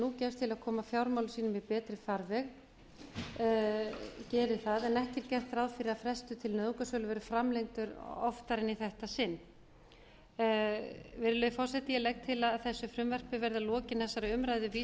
nú gefst til að koma fjármálum sínum í betri farveg geri það en ekki er gert ráð fyrir að frestur til nauðungarsölu verði framlengdur oftar en í þetta sinn virðulegi forseti ég legg til að þessu frumvarpi verði að lokinni þessari umræðu